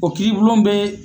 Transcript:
O kiiri bulon be